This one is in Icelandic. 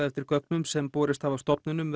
eftir gögnum sem borist hafa stofnunum